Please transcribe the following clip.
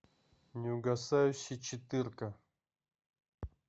неугасающий четырка